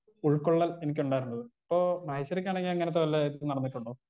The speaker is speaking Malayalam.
സ്പീക്കർ 1 ഉൾകൊള്ളൽ എനിക്കുണ്ടായിരുന്നത് ഇപ്പോ മഹേശ്വരിക്കാണെങ്കി ഇങ്ങനത്തെ വല്ലേ ഇതും നടന്നിട്ടുണ്ടോ.